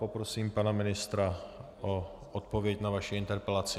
Poprosím pana ministra o odpověď na vaši interpelaci.